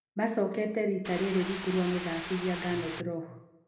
Macokete rita rĩrĩ rungu rwa mũthakithia Gernot Rohr.